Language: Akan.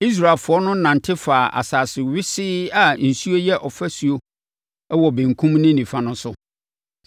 Israelfoɔ no nante faa asase wesee a nsuo yɛ ɔfasuo wɔ benkum ne nifa no so.